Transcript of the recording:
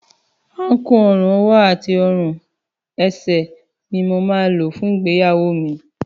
Àkún ọrùn, ọwọ́ àti ọrùn ẹsẹ̀ ni mo máa lò fún ìgbéyàwó mi